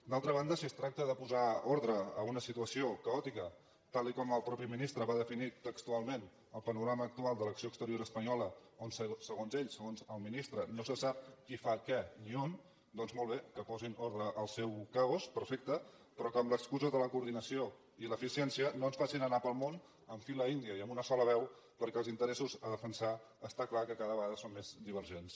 d’altra banda si es tracta de posar ordre a una situació caòtica tal com el mateix ministre va definir textualment el panorama actual de l’acció exterior espanyola on segons ell segons el ministre no se sap qui fa què ni on doncs molt bé que posin ordre al seu caos perfecte però que amb l’excusa de la coordinació i l’eficiència no ens facin anar pel món en fila índia i amb una sola veu perquè els interessos a defensar està clar que cada vegada són més divergents